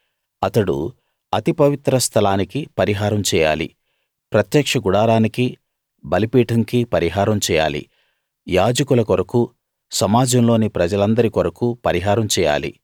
అతడు అతి పవిత్ర స్థలానికి పరిహారం చేయాలి ప్రత్యక్ష గుడారానికీ బలిపీఠంకీ పరిహారం చేయాలి యాజకుల కొరకూ సమాజంలోని ప్రజలందరి కొరకూ పరిహారం చేయాలి